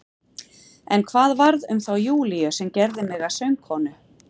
En hvað varð um þá Júlíu sem gerði mig að sögukonu?